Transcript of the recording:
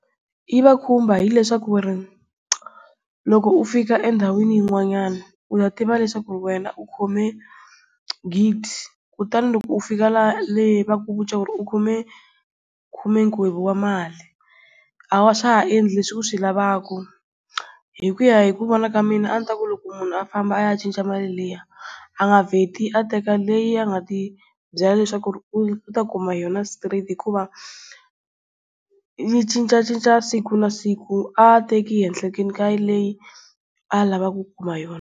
Yi va khumba hileswaku ri loko u fika endhawini yin'wanyana u ya tiva leswaku wena u khome gidi kutani loko u fika le va ku vu ca ku ri u khome khume wa mali a wa a swa ha endli leswi u swi lavaka. Hi ku ya hi ku vona ka mina a ndzi ta ku loko munhu a famba a ya cinca mali liya a nga vheti a teka leyi a nga ti byela leswaku u ta kuma yona straight hikuva yi cincacinca siku na siku a teki ehenhleni ka ya leyi a lavaka ku kuma yona.